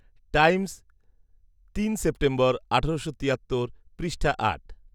Times, তিন September আঠারোশো তিয়াত্তর পৃষ্ঠা আট